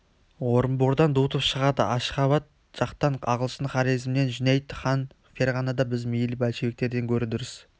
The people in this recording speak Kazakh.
орынбордан дутов шығады ашғабад жақтан ағылшын хорезмнен жүнәйд хан ферғанада біз мейлі большевиктерден гөрі дұрыс